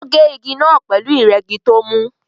Ó gé igi pẹ̀lú ìrẹ́gi tó mú